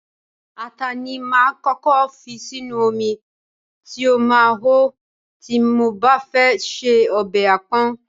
Ata ni máa ń kọ́kọ́ fi sínú omi tí ó máa hó tí mo bá fẹ́ se ọbẹ̀ apon.